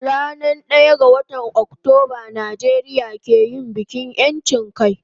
Ran daya ga watan Octoba Nijeria ke yin bikin yanchin kai